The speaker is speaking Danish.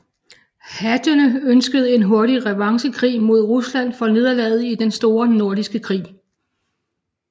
Hattene ønskede en hurtig revanchekrig mod Rusland for nederlaget i Den Store Nordiske Krig